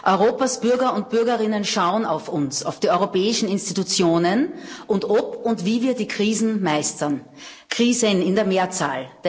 Europas Bürger und Bürgerinnen schauen auf uns, auf die Europäischen Institutionen, und ob und wie wir die Krisen meistern Krisen in der Mehrzahl.